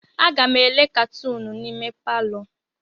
Aga m ele katunu n'ime palọ.